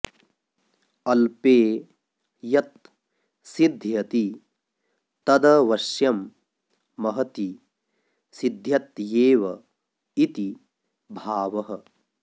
अल्पे यत् सिद्ध्यति तदवश्यं महति सिद्ध्यत्येव इति भावः